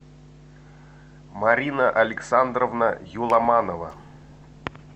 марина александровна юламанова